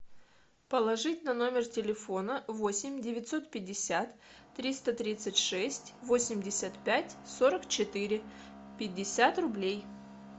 положить на номер телефона восемь девятьсот пятьдесят триста тридцать шесть восемьдесят пять сорок четыре пятьдесят рублей